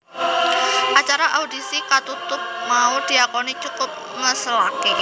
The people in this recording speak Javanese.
Acara audisi katutup mau diakoni cukup ngeselaké